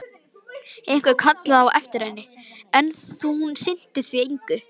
Einhver kallaði á eftir henni, en hún sinnti því engu.